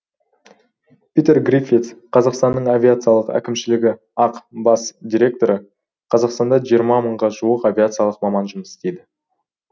питер гриффитс қазақстанның авиациялық әкімшілігі ақ бас директоры қазақстанда жиырма мыңға жуық авиациялық маман жұмыс істейді